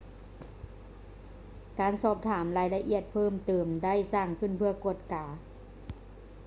ການສອບຖາມລາຍລະອຽດເພີ່ມເຕີມໄດ້ສ້າງຂຶ້ນເພື່ອກວດກາ